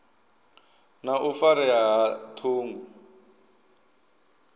na u farea ha ṱhungu